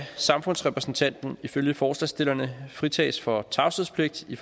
samfundsrepræsentanten ifølge forslagsstillerne fritages for tavshedspligt i